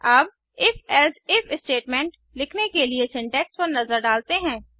अब IfElse if statement लिखने के लिए सिंटैक्स पर नजर डालते हैं